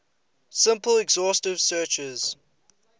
simple exhaustive searches